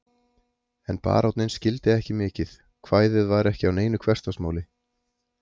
En baróninn skildi ekki mikið, kvæðið var ekki á neinu hversdagsmáli.